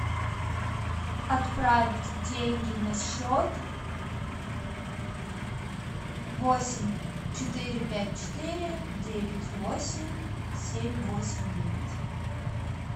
отправить деньги на счет восемь четыре пять четыре девять восемь семь восемь девять